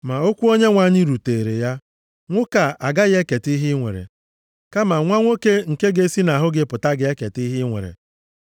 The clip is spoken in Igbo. Ma okwu Onyenwe anyị rutere ya, “Nwoke a agaghị eketa ihe i nwere, kama nwa nwoke nke ga-esi nʼahụ gị pụta ga-eketa ihe i nwere.”